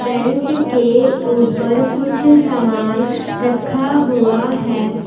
Bench के ऊपर कुछ सामान रखा हुआ है।